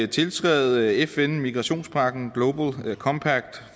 tiltræde fn migrationspagten global compact